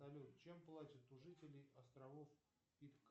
салют чем платят у жителей островов